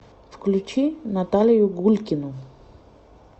включи наталию гулькину